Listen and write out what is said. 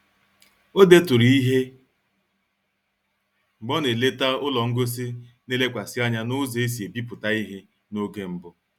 O deturu ihe mgbe ọ na-eleta ụlọ ngosi na-elekwasị anya n'ụzọ e si ebipụta ihe n'oge mbụ